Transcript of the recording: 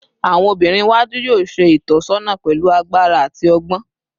Awọn obinrin iwaju yoo ṣe itọsọna pẹlu agbara ati ọgbọn